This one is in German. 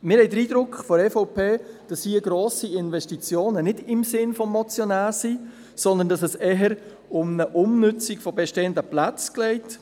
Wir von der EVP haben den Eindruck, dass grosse Investitionen hier nicht im Sinne des Motionärs wären, sondern dass es eher um eine Umnutzung bestehender Plätze geht.